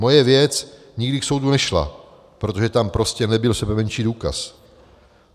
Moje věc nikdy k soudu nešla, protože tam prostě nebyl sebemenší důkaz.